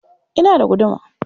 Ina da guduma.